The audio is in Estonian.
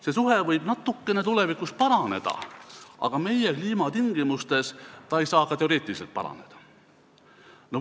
See suhe võib tulevikus natukene paraneda, aga meie kliimatingimustes ei saa see teoreetiliselt palju paraneda.